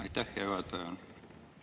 Aitäh, hea juhataja!